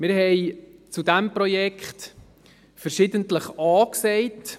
Wir haben zu diesem Projekt verschiedentlich A gesagt.